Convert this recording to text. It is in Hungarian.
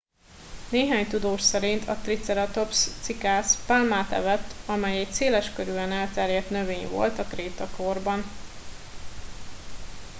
néhány tudós szerint a triceratops cikász pálmát evett amely egy széleskörűen elterjedt növény volt a krétakorban